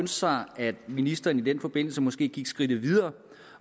sig at ministeren i den forbindelse måske gik skridtet videre